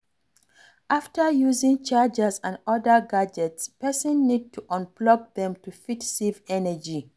After using chargers and oda gadgets, person need to unplug them to fit save energy